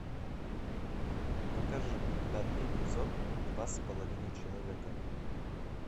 покажи пятый эпизод два с половиной человека